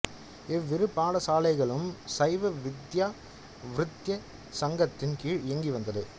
இவ்விரு பாடசாலைகளும் சைவ வித்தியா விருத்திச் சங்கத்தின் கீழ் இயங்கி வந்தது